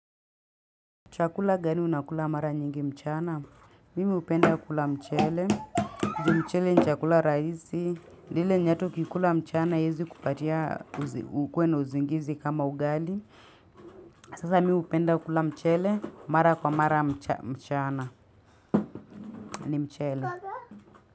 Chakula gani unakula mara nyingi mchana, mimi upenda kula mchale, juu mchale ni chakula rahisi, lile nyatu kikula mchana haezi kupatia ukue uzingizi kama ugali, sasa mimi upenda kula mchele, mara kwa mara mchana ni mchale.